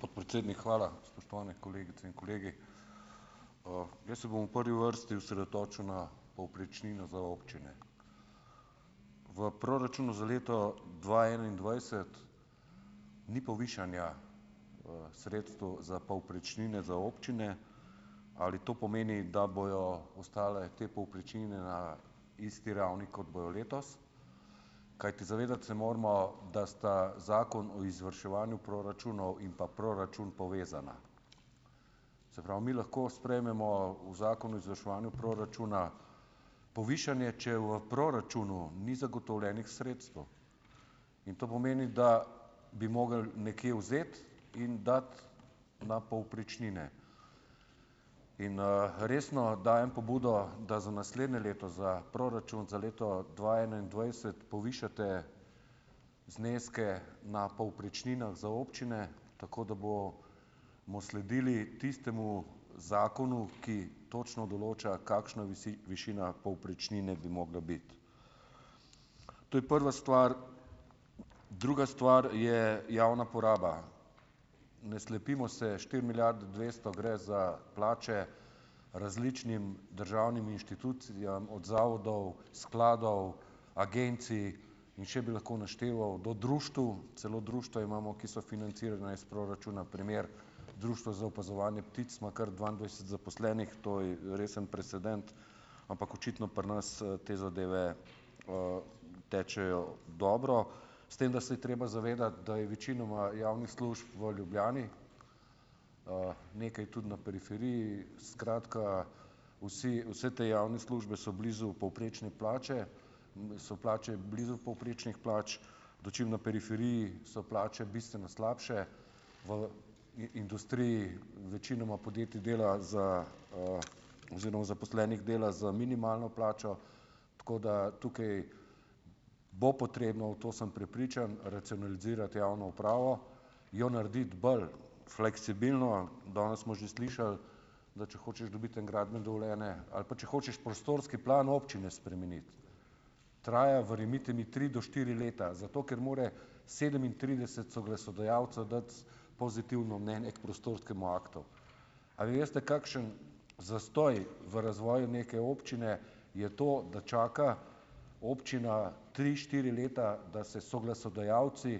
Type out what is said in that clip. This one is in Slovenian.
Podpredsednik, hvala. Spoštovane kolegice in kolegi. jaz se bom v prvi vrsti osredotočil na povprečnino za občine. V proračunu za leto dva enaindvajset ni povišanja, sredstev za povprečnine za občine. Ali to pomeni, da bojo ostale te povprečnine na isti ravni kot bojo letos? Kajti zavedati se moramo, da sta Zakon o izvrševanju proračunov in pa proračun povezana. Se pravi, mi lahko sprejmemo v Zakonu o izvrševanju proračuna povišanje, če v proračunu ni zagotovljenih sredstev. In to pomeni, da bi mogli nekje vzeti in dati na povprečnine. In, resno dajem pobudo, da za naslednje leto, za proračun za leto dva enaindvajset povišate zneske na povprečninah za občine, tako da bo bomo sledili tistemu zakonu, ki točno določa, kakšna višina povprečnine bi mogla biti. To je prva stvar. Druga stvar je javna poraba. Ne slepimo se, štiri milijarde dvesto gre za plače različnim državnim inštitucijam, od zavodov, skladov, agencij in še bi lahko našteval, do društev, celo društva imamo, ki so financirana iz proračuna, primer, Društvo za opazovanje ptic ima kar dvaindvajset zaposlenih, to je resen precedent. Ampak očitno pri nas te zadeve, tečejo dobro, s tem da se je treba zavedati, da je večinoma javnih služb v Ljubljani, nekaj tudi na periferiji, skratka, vsi, vse te javne službe so blizu povprečne plače, so plače blizu povprečnih plač, dočim na periferiji so plače bistveno slabše v industriji. Večinoma podjetje dela za, oziroma zaposlenih dela za minimalno plačo, tako da tukaj bo potrebno, v to sem prepričan, racionalizirati javno upravo, jo narediti bolj fleksibilno. Danes smo že slišali, da če hočeš dobiti eno gradbeno dovoljenje ali pa če hočeš prostorski plan občine spremeniti, traja, verjemite mi, tri do štiri leta, zato, ker mora sedemintrideset soglasodajalcev dati pozitivno mnenje k prostorskemu aktu. A vi veste, kakšen zastoj v razvoju neke občine je to, da čaka občina tri, štiri leta, da se soglasodajalci